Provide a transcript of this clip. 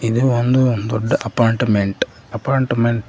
ಇದು ಒಂದು ದೊಡ್ಡ ಅಪಾರ್ಟ್ಮೆಂಟ್ ಅಪಾರ್ಟ್ಮೆಂಟ್ .